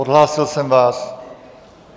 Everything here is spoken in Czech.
Odhlásil jsem vás.